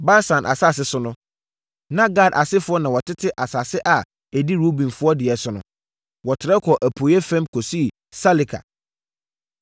Basan asase so no, na Gad asefoɔ na wɔtete asase a ɛdi Rubenfoɔ deɛ no so. Wɔtrɛ kɔɔ apueeɛ fam kɔsii Saleka.